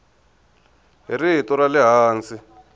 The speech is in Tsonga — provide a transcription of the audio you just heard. hi rito ra le hansi